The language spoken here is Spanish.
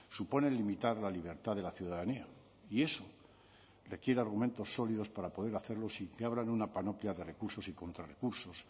supone limitar la libertad de la ciudadanía y eso requiere argumentos sólidos para poder hacerlo sin que abran una panoplia de recursos y contrarecursos